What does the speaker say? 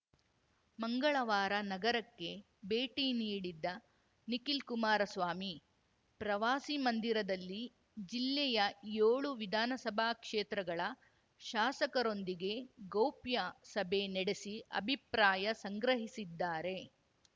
ಮಂಗಳವಾರ ನಗರಕ್ಕೆ ಭೇಟಿ ನೀಡಿದ್ದ ನಿಖಿಲ್‌ ಕುಮಾರಸ್ವಾಮಿ ಪ್ರವಾಸಿ ಮಂದಿರದಲ್ಲಿ ಜಿಲ್ಲೆಯ ಯೋಳು ವಿಧಾನಸಭಾ ಕ್ಷೇತ್ರಗಳ ಶಾಸರೊಂದಿಗೆ ಗೌಪ್ಯ ಸಭೆ ನಡೆಸಿ ಅಭಿಪ್ರಾಯ ಸಂಗ್ರಹಿಸಿದ್ದಾರೆ